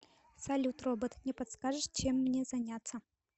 салют робот не подскажешь чем мне заняться